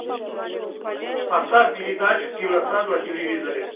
поставь передачу киносад на телевизоре